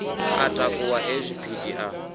a takuwa e zwipidi a